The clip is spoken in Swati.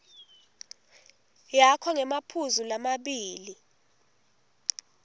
yakho ngemaphuzu lamabili